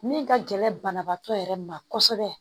Min ka gɛlɛn banabaatɔ yɛrɛ ma kosɛbɛ